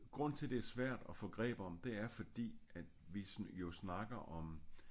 Grunden til det er svært at få greb om det er fordi at vi jo snakker om